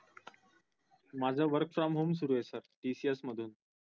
माझं work from home सुरु आहे sirtcs मधून